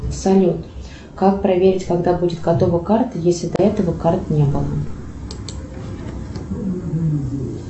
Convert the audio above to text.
салют как проверить когда будет готова карта если до этого карт не было